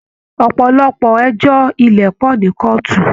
Ọpọlọpọ ẹjọ ilẹ pọ ní kọọtù.